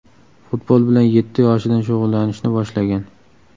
Futbol bilan yetti yoshidan shug‘ullanishni boshlagan.